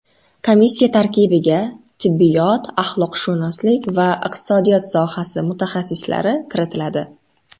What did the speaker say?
Komissiya tarkibiga tibbiyot, axloqshunoslik va iqtisodiyot sohasi mutaxassislari kiritiladi.